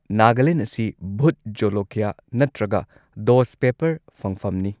ꯅꯥꯒꯥꯂꯦꯟꯗ ꯑꯁꯤ ꯚꯨꯠ ꯖꯣꯂꯣꯀ꯭ꯌꯥ ꯅꯠꯇ꯭ꯔꯒ ꯗꯣꯁꯠ ꯄꯦꯞꯄꯔ ꯐꯪꯐꯝꯅꯤ꯫